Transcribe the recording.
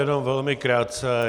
Jenom velmi krátce.